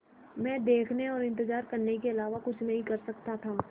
मैं देखने और इन्तज़ार करने के अलावा कुछ नहीं कर सकता था